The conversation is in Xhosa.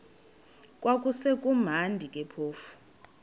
kwakusekumnandi ke phofu